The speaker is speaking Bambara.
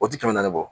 O ti kɛmɛ naani bɔ